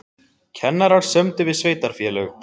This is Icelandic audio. Kennarar sömdu við sveitarfélög